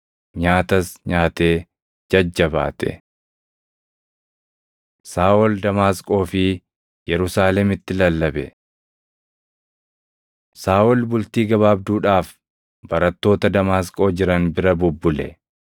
Nyaatas nyaatee jajjabaate. Saaʼol Damaasqoo fi Yerusaalemitti Lallabe Saaʼol bultii gabaabduudhaaf barattoota Damaasqoo jiran bira bubbule.